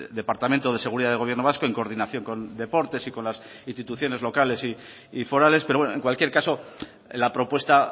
departamento de seguridad del gobierno vasco en coordinación con deportes y con las instituciones locales y forales pero bueno en cualquier caso la propuesta